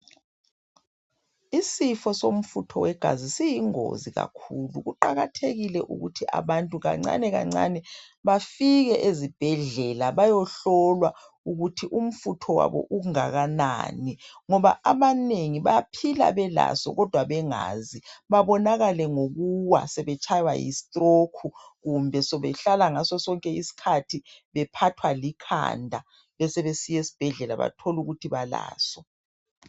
Isifo somfutho wegazi siyingozi kakhulu kuqakathekile ukuthi abantu kancane kancane bafike ezibhedlela bayohlolwa ukuthi umfutho wabo ungakanani ngoba abanengi baphila belaso kodwa bengazi babonakale ngokuwa sebetshaywa yistroke kumbe sebehlala ngaso sonke isikhathi bephathwa likhanda besebesiya esibhedlela batholukuthi balaso.